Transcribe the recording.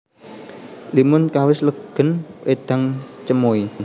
Limun kawis legèn wédang cemoè